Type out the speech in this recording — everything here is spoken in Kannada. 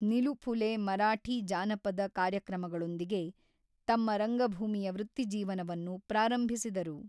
ನಿಲು ಫುಲೆ ಮರಾಠಿ ಜಾನಪದ ಕಾರ್ಯಕ್ರಮಗಳೊಂದಿಗೆ ತಮ್ಮ ರಂಗಭೂಮಿಯ ವೃತ್ತಿಜೀವನವನ್ನು ಪ್ರಾರಂಭಿಸಿದರು.